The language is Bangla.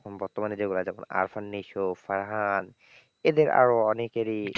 বর্তমানে যেগুলো এ দেখুন আরফন নিশো, ফারহান এদের আরও অনেকেরই,